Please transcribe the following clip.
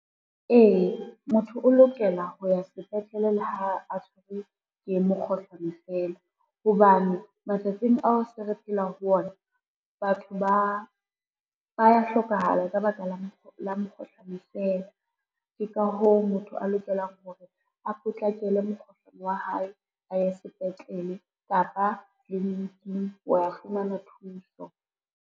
Ee, motho o lokela ho ya sepetlele le ha a tshwerwe ke mekgohlano fela, hobane matsatsing ao se re phelang ho ona batho ba ya hlokahala ka baka la mekgohlano fela. Ke ka hoo motho a lokelang hore a potlakele mokgohlane wa hae, a ye sepetlele kapa tliliniking ho wa fumana thuso.